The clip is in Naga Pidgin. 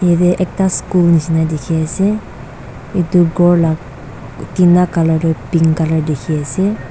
yate ekta school nisna dikhi ase etu ghor lah tina colour tu pink colour dikhi ase.